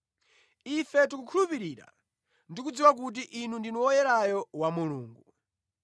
Ife tikhulupirira ndi kudziwa kuti Inu ndinu Woyerayo wa Mulungu.”